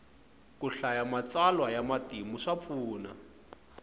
ku hlaya matsalwa ya matimu swa pfuna